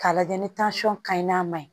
K'a lajɛ ni ka ɲi n'a ma ɲi